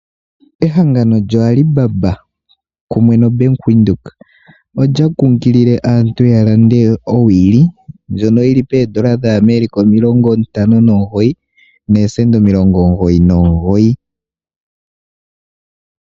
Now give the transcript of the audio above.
Ehangano lyo Alibaba kumwe no Bank Windhoek, olya kunkilile aantu ya lande owili, ndjono yi li peedola dhaAmerica omilongontano nomugoyi noosenda omilongo omugoyi nomugoyi.